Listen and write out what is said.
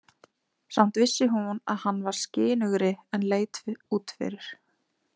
Samt vissi hún að hann var skynugri en leit út fyrir.